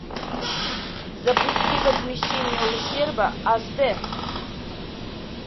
запусти возмещение ущерба аш д